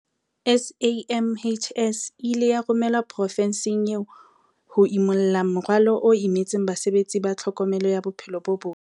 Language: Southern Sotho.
SAMHS e ile ya romelwa profenseng eo ho ya imulla morwalo o imetseng basebetsi ba tlhokomelo ya bophelo bo botle.